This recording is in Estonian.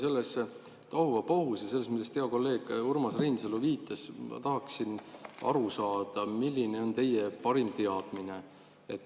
Selles tohuvabohus ja selles, millele hea kolleeg Urmas Reinsalu viitas, ma tahaksin aru saada, milline on teie parim teadmine.